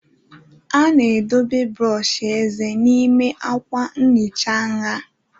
A na-edobe brọsh eze n'ime akwa nhicha nha